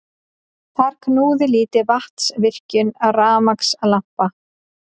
Þar knúði lítil vatnsvirkjun rafmagnslampa.